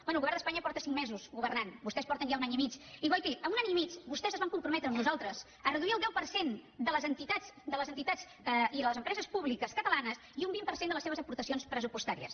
bé el govern d’espanya fa cinc mesos que governa vostès en fa ja un any i mig i guaiti en un any i mig vostès es van comprometre amb nosaltres a reduir el deu per cent de les entitats i les empreses públiques catalanes i un vint per cent de les seves aportacions pressupostàries